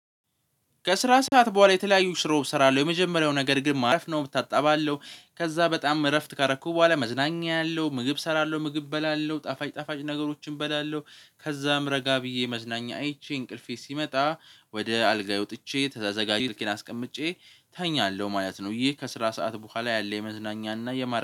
ከስራ ሰዓት በኋላ የተለያዩ ስራ እሰራለሁ የመጀመሪያው ነገር ግን ማረፍ ነው እታጣባለው ከዛ በጣም እረፍት ካረኩ በኋላ መዝናኛ አለው። ምግብ እሰራለሁ ምግብ እበላለሁ ጣፋጭ ጣፋጭ ነገሮችን እበላለሁ። ከዛም ረጋ ብዬ መዝናኛ አይቼ እንቅልፌ ሲመጣ ወደ አልጋ ወጥቼ ተዘጋጅ ስልኬ አስቀምጬ ተኛለሁ ማለት ነው። ይሄ ከስራ ሰዓት በኋላ ያለ የመዝናኛ እና የማር